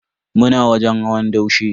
Muna wajen hawan daushe.